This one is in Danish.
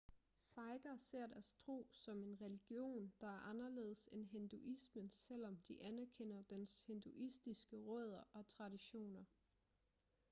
sikher ser deres tro som en religion der er anderledes end hinduismen selvom de anerkender dens hinduistiske rødder og traditioner